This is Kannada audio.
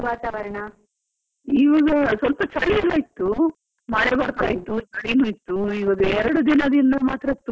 ಇವಾಗ ಸ್ವಲ್ಪ ಚಲಿಯೆಲ್ಲಾ ಇತ್ತು, ಮಳೆ ಬರ್ತಾ ಇತ್ತು, ಮಂಜಲ್ಲ ಇತ್ತು ಈಗ ಎರಡು ದಿನದಿಂದ ಮಾತ್ರ ತುಂಬಾನೇ ಸೆಕೆ.